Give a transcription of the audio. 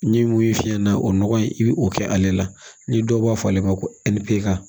N ye mun ye fiyɛ na o nɔgɔ in i bɛ o kɛ ale la ni dɔw b'a fɔ ale ma ko ni peseka